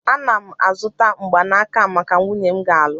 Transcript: Ana m azụta mgbanaka a maka nwunye m nga alụ